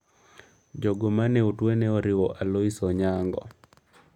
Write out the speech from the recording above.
Jogo mane otwe ne oriwo Aloise Onyango.